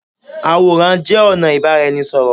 Àwòrán jé ònà ìbáraẹnisọ̀rọ̀